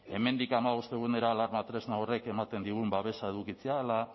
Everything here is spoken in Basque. hemendik hamabost egunera alarma tresna horrek ematen digun babesa edukitzea ala